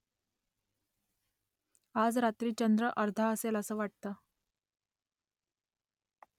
आज रात्री चंद्र अर्धा आहे असं वाटतं